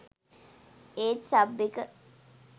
ඒත් සබ් එක